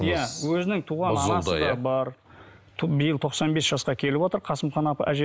иә өзінің туған анасы да бар биыл тоқсан бес жасқа келіп отыр қасымхан апа әже